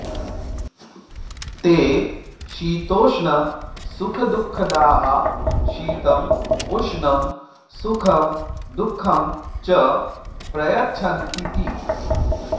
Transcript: ते शीतोष्णसुखदुःखदाः शीतं उष्णं सुखं दुःखं च प्रयच्छन्तीति